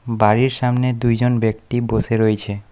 বাড়ির সামনে দুইজন ব্যক্তি বসে রইছে।